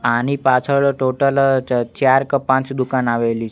આની પાછળ ટોટલ ચ ચાર ક પાંચ દુકાન આવેલી--